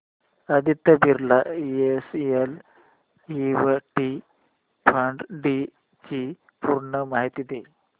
Aditya Birla SL equity fund D ची पूर्ण माहिती दे